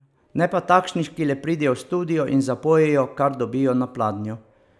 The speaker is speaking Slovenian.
Ne pa takšnih, ki le pridejo v studio in zapojejo, kar dobijo na pladnju.